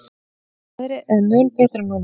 Veðrið er mun betra núna.